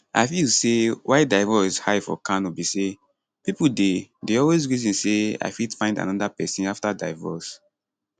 i feel say why divorce high for kano be say pipo dey dey always reason say i fit find anoda pesin afta divorce